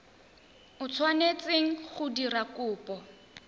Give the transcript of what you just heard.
o tshwanetseng go dira kopo